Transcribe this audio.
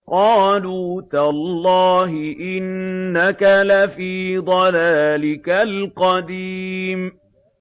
قَالُوا تَاللَّهِ إِنَّكَ لَفِي ضَلَالِكَ الْقَدِيمِ